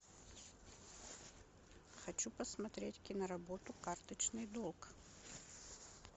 хочу посмотреть киноработу карточный долг